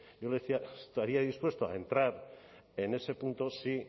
yo le decía estaría dispuesto a entrar en ese punto si